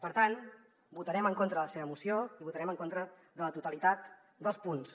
per tant votarem en contra de la seva moció i votarem en contra de la totalitat dels punts